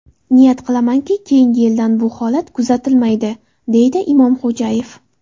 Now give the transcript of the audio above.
Niyat qilamanki, keyingi yildan bu holat kuzatilmaydi”, deydi Imomxo‘jayev.